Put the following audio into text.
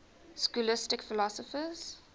scholastic philosophers